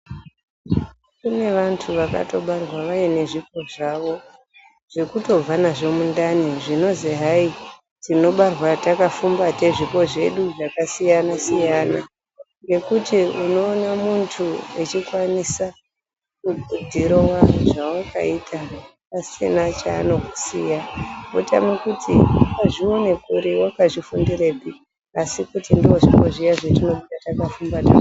Kune vantu vakatobarwa vaine zvipo zvavo zvekutobva nazvo mundani ,zvinozi hai tinobarwa takafumbata zvipo zvedu zvakasiyanasiyana ngekuti unoone muntu echikwanisa kudhirowa zvawakaita asina chaanosiya wotame kuti wazvionere kuri wakazvifundirepi asi kuti ndizvo zvipo zviya zvatinenge takafumbata munyara pakubarwa.